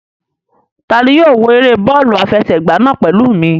Ta ni yóò wo eré bọ́ọ̀lù àfẹsẹ̀gbá náà pẹ̀lú mi?